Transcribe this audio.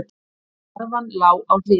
Karfan lá á hliðinni.